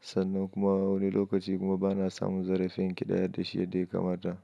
sannan kuma wani lokaci kuma bana samun zarafin ƙidaya da shi yadda ya kamata.